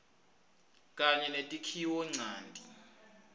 kanye netakhiwo ncanti